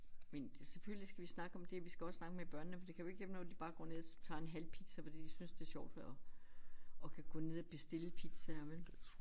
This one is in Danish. Men selvfølgelig skal vi snakke om det vi skal også snakke med børnene for det kan jo ikke hjælpe noget at de bare går ned tager en halv pizza fordi de synes det er sjovt at at kan gå ned og bestille pizzaer vel